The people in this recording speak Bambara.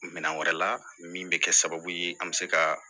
Minɛn wɛrɛ la min bɛ kɛ sababu ye an bɛ se ka